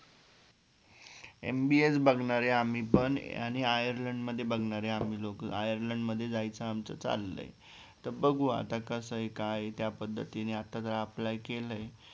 MBA च बघणार आम्ही पण आणि आयर्लंड मध्ये बघणारे आम्ही लोकं आयर्लंड मध्ये जायचं आमचं चालय तर बघू आता कसंय काय त्या पद्धतीने आत apply केलंय